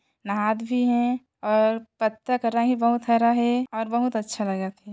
नहात भी हे और पत्ता का रंग भी बहुत हरा हे और बहुत अच्छा लगत हे।